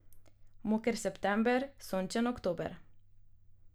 Moker september, sončen oktober.